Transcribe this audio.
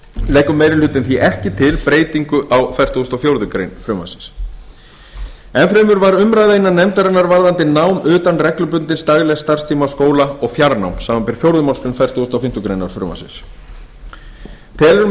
leggur meiri hlutinn því ekki til breytingu á fertugasta og fjórðu grein frumvarpsins enn fremur var umræða innan nefndarinnar varðandi nám utan reglubundins daglegs starfstíma skóla og fjarnám samanber fjórðu málsgrein fertugustu og fimmtu grein frumvarpsins telur